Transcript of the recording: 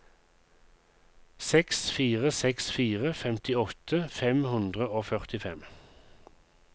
seks fire seks fire femtiåtte fem hundre og førtifem